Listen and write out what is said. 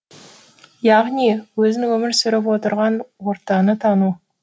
яғни өзің өмір сүріп отырған ортаны тану